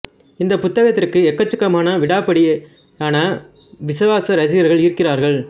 இந்த புத்தகத்திற்கு எக்கச்சக்கமான விடாப்பிடி விடாப்பிடியான விசுவாச ரசிகர்கள் இருக்கிறார்கள்